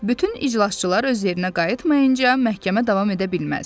Bütün iclasçılar öz yerinə qayıtmayınca məhkəmə davam edə bilməz.